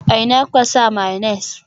A ina kuka sa mayonnaise?